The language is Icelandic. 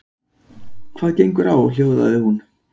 Hvað gengur á hljóðaði hún.